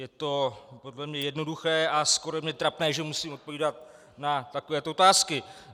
Je to podle mě jednoduché a skoro je mi trapné, že musím odpovídat na takovéto otázky.